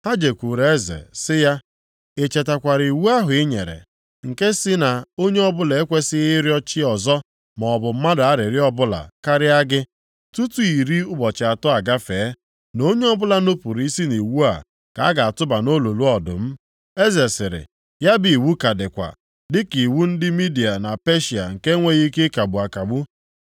Ha jekwuru eze sị ya, “I chetakwara iwu ahụ i nyere, nke sị na onye ọbụla ekwesighị ịrịọ chi ọzọ maọbụ mmadụ arịrịọ ọbụla karịa gị, tutu iri ụbọchị atọ agafee, na onye ọbụla nupuru isi nʼiwu a ka a ga-atụba nʼolulu ọdụm?” Eze sịrị, “Ya bụ iwu ka dịkwa, dịka iwu ndị Midia na Peshịa nke e nweghị ike ịkagbu akagbu.”